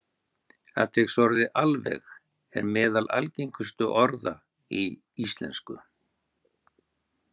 Atviksorðið alveg er meðal algengustu orða í íslensku.